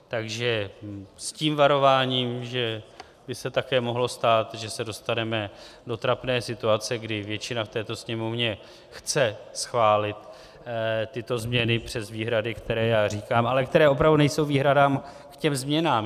Takže s tím varováním, že by se také mohlo stát, že se dostaneme do trapné situace, kdy většina v této Sněmovně chce schválit tyto změny přes výhrady, které já říkám, ale které opravdu nejsou výhradami k těm změnám.